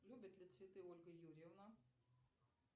любит ли цветы ольга юрьевна